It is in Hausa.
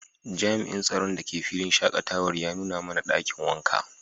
jami'in tsaron da ke filin shakatawar ya nuna mana dakin wanka.